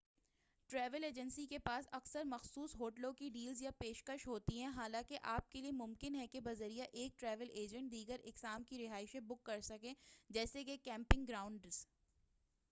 travel agents کے پاس اکثر مخصوص ہوٹلوں کی ڈیلز یا پیشکشیں ہوتی ہیں حالانکہ آپ کے لیے ممکن ہے کہ بذریعہ ایک ٹریول ایجنٹ دیگر اقسام کی رہائشیں بُک کرسکیں جیسے کہ کیمپنگ گراؤنڈز